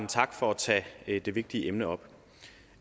tak for at tage det vigtige emne op